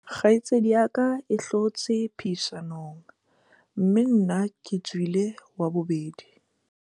kgaitsedi ya ka e hlotse phehisanong mme nna ke tswile wa bobedi